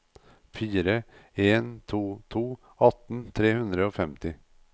fire en to to atten tre hundre og femti